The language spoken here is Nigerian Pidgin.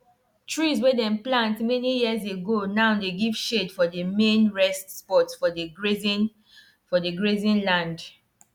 to use natural fertilizer take hold water na wise decision wey dem don dey use since use since during their ancestors time.